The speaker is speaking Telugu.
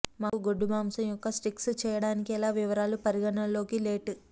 మాకు గొడ్డు మాంసం యొక్క స్టీక్స్ చేయడానికి ఎలా వివరాలు పరిగణలోకి లెట్